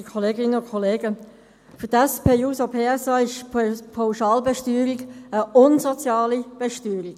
Für die SP-JUSO-PSA ist die Pauschalbesteuerung eine unsoziale Besteuerung.